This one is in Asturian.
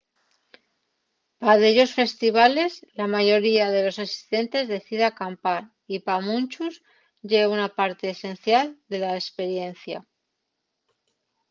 pa dellos festivales la mayoría de los asistentes decide acampar y pa munchos ye una parte esencial de la esperiencia